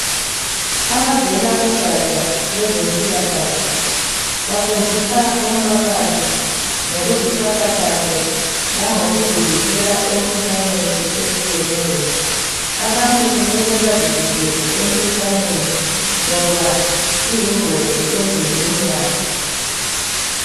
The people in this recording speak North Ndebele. Abavela kugatsha lwezempilakahle, bafundisa umphakathi ngokuziphatha kahle langokuzivikela emikhuhlaneni etshiyeneyo. Abantu kumele bazivikele emikhuhlaneni, ngoba iyingozi emizimbeni yabo.